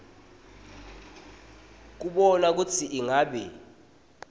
kubona kutsi ingabe